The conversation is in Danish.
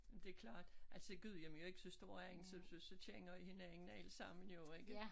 Det klart altså Gudhjem er jo ikke så stor egn så så så kender i hinanden alle sammen jo ikke